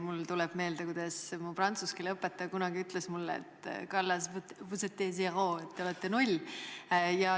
Mulle tuleb meelde, kuidas mu prantsuse keele õpetaja kunagi ütles mulle, et, Kallas, te olete null.